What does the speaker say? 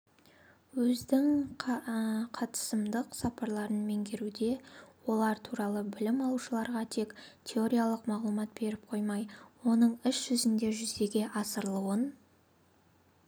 өздің қатысымдық сапаларын меңгертуде олар туралы білім алушыларға тек теориялық мағлұмат беріп қоймай оның іс жүзінде жүзеге асырылуын